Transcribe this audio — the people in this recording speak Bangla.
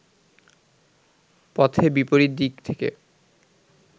পথে বিপরীত দিক থেকে